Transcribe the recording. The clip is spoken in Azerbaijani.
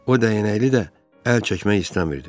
O dəyənəkli də əl çəkmək istəmirdi.